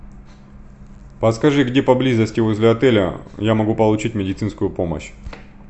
подскажи где поблизости возле отеля я могу получить медицинскую помощь